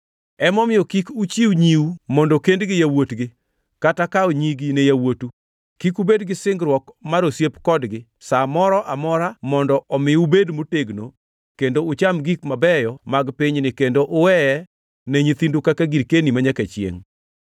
Emomiyo, kik uchiw nyiu mondo kend gi yawuotgi, kata kawo nyigi ne yawuotu. Kik ubed gi singruok mar osiep kodgi sa moro amora, mondo omi ubed motegno kendo ucham gik mabeyo mag pinyni kendo uweye ne nyithindu kaka girkeni manyaka chiengʼ.’